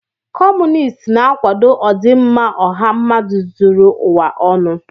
Kọmunist na-akwado ọdịmma ọha mmadụ zuru ụwa ọnụ.